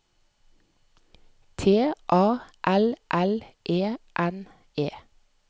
T A L L E N E